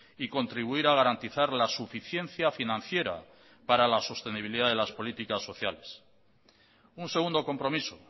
y contribuir a garantizar la suficiencia financiera para la sostenibilidad de las políticas sociales un segundo compromiso